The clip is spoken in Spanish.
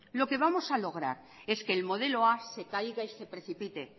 lo que vamos a lograr es que el modelo a se caiga y se precipite